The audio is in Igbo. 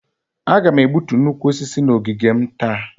Aga m egbutu nnukwu osisi a n'ogige m taa